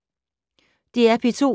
DR P2